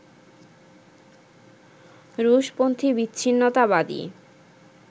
রুশপন্থি বিচ্ছিন্নতাবাদী